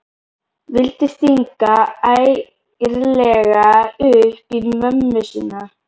Vildi stinga ærlega upp í mömmu sína.